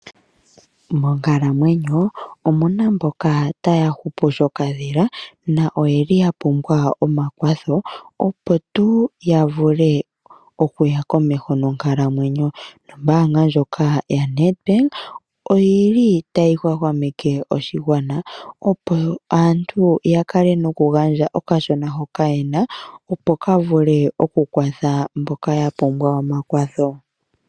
Monkalamwenyo omuna mboka taya hupu shokadhila naa oyeli ya pumbwa omakwatho. opo tuu ya vule okuya komeho nonkalamwenyo. Nombanga ndjoka yaNedbank oyili tayi hwahwameke oshigwa opo aantu ya kale noku gandja okashona hoka yena. Opo ka vule oku kwatha mboka ya pumbwa omakwatho.